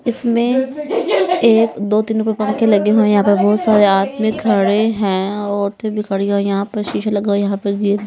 इसमें एक दो तीन ऊपर पंखे लगे हुए हैं यहाँ पर बहुत सारे आदमी खड़े हैं औरतें भी खड़ी हैं और यहाँ पर शीशा लगा यहाँ पर --